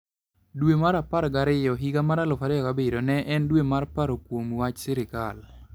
Dwe mar apar gariyo higa 2007 ne en dwe mar paro kuom wach sirkal.